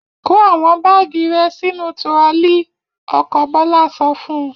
Kó àwọn báágì rẹ sínú turọlí! Ọkọ Bọ́lá sọ fún un.